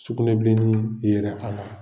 Sukunɛ bilennii yera a la.